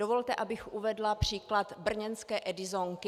Dovolte, abych uvedla příklad brněnské Edisonky.